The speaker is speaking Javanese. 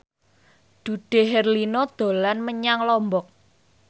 Dude Herlino dolan menyang Lombok